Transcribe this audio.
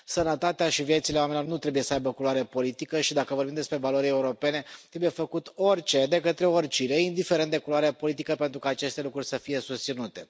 Sănătatea și viețile oamenilor nu trebuie să aibă culoare politică și, dacă vorbim despre valori europene, trebuie făcut orice, de către oricine, indiferent de culoarea politică, pentru ca aceste lucruri să fie susținute.